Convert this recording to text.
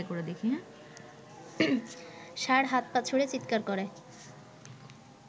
ষাঁড় হাত পা ছুঁড়ে চিৎকার করে